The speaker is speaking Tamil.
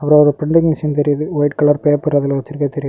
ஒரு பிரின்டிங் மெஷின் தெரியுது ஒயிட் கலர் பேப்பர் அதுல வச்சிருக்ரது தெரியுது.